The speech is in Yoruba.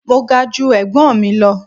Mo ga ju ẹ̀gbọ́n mi lọ.